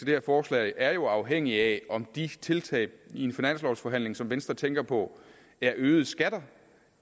her forslag er jo afhængig af om de tiltag i en finanslovforhandling som venstre tænker på er øgede skatter